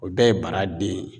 O bɛɛ ye bara den ye.